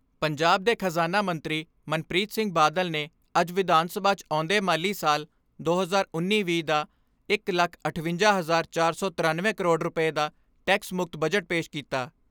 ਪੰਜਾਬ ਦੇ ਖਜ਼ਾਨਾ ਮੰਤਰੀ ਮਨਪ੍ਰੀਤ ਸਿੰਘ ਬਾਦਲ ਨੇ ਅੱਜ ਵਿਧਾਨ ਸਭਾ 'ਚ ਆਉਂਦੇ ਮਾਲੀ ਸਾਲ ਦੋ ਹਜ਼ਾਰ ਉੱਨੀ ਵੀਹ ਦਾ ਇਕ ਲੱਖ ਅਠਵੰਜਾ, ਚਾਰ ਸੌ ਤਿਰਨਵੇਂ ਕਰੋੜ ਰੁਪਏ ਦਾ ਟੈਕਸ ਮੁਕਤ ਬਜਟ ਪੇਸ਼ ਕੀਤਾ।